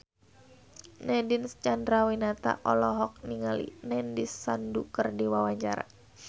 Nadine Chandrawinata olohok ningali Nandish Sandhu keur diwawancara